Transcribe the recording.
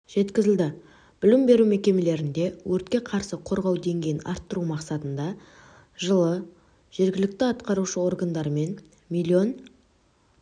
жеткізілді білім беру мекемелерінде өртке қарсы қорғау деңгейін арттыру мақсатында жылы жергілікті атқарушы органдарымен миллион